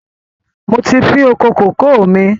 Mo ti fin oko kòkó míì